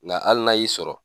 Nga hali n'a y'i sɔrɔ